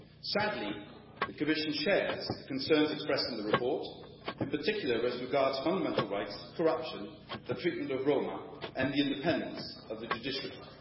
Sadly, the Commission shares the concerns expressed in the report, in particular, the concerns regarding fundamental rights, corruption, the treatment of Roma, and the independence of the judiciary.